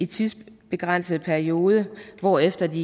tidsbegrænset periode hvorefter de